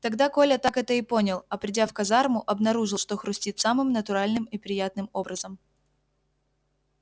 тогда коля так это и понял а придя в казарму обнаружил что хрустит самым натуральным и приятным образом